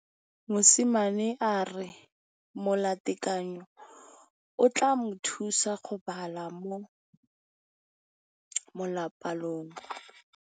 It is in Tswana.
Mosimane a re molatekanyô o tla mo thusa go bala mo molapalong.